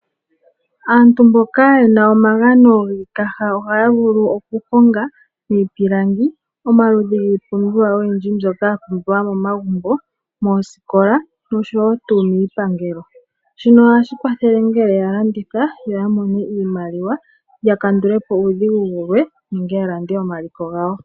Aantu mboka ye na omagano giikaha ohaa vulu okuhonga miipilangi omaludhi giipumbiwa oyindji mbyoka ya pumbiwa momagumbo, moosikola nosho woo momiipangelo. Shika ohashi kwathele ngele ya landitha ya mone iimaliwa, opo ya kandule po omaudhigu gamwe nenge ya lande omaliko gawo.